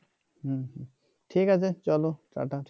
ঠিক আছে চলো tata,